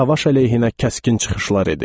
Savaş əleyhinə kəskin çıxışlar edib.